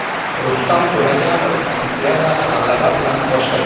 Rustam To‘laganov Olimpiadani g‘alaba bilan boshladi.